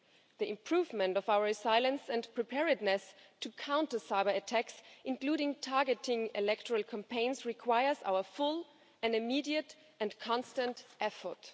The improvement of our resilience and preparedness to counter cyberattacks, including targeting electoral campaigns, requires our full, immediate and constant effort.